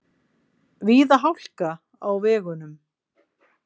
Víða hálka á vegunum